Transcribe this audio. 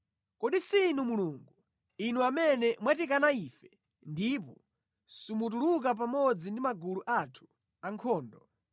Kodi si Inu Mulungu, Inu amene mwatikana ife ndipo simutuluka pamodzi ndi magulu athu ankhondo.